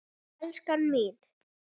Já en elskan mín.